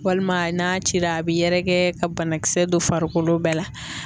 Walima n'a cira a bɛ yɛrɛkɛ ka banakisɛ dɔ farikolo bɛɛ la.